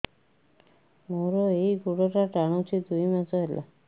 ମୋର ଏଇ ଗୋଡ଼ଟା ଟାଣୁଛି ଦୁଇ ମାସ ହେଲା